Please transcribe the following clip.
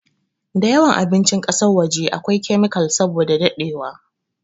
da yawan abincin kasan waje a kwai kemikal saboda dadewa